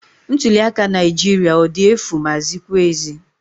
Ntuliaka Naijiria ọ dị efu maa zikwa ezi?